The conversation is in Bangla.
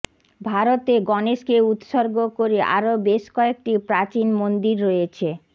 ভারতে গণেশকে উত্সর্গ করে আরও বেশ কয়েকটি প্রাচীন মন্দির রয়েছে